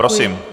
Prosím.